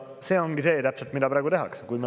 See ongi see, mida praegu tehakse.